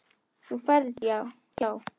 Þú ferð hjá